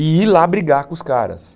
E ir lá brigar com os caras.